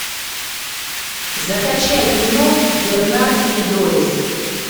закачай кино бернард и дорис